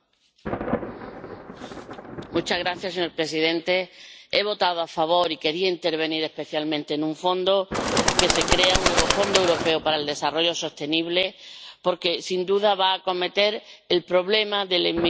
Señor presidente, he votado a favor y quería intervenir, especialmente, en relación con la creación de este nuevo Fondo Europeo de Desarrollo Sostenible, porque sin duda va a acometer el problema de la inmigración, de la injusticia y de la pobreza.